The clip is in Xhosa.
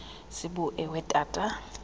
sibu ewe tata